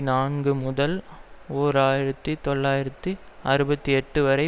நான்குமுதல் ஓர் ஆயிரத்தி தொள்ளாயிரத்து அறுபத்தி எட்டுவரை